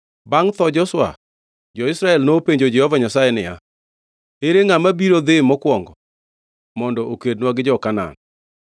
Bangʼ tho Joshua, jo-Israel nopenjo Jehova Nyasaye niya, “Ere ngʼama biro dhi mokwongo mondo okednwa gi jo-Kanaan?”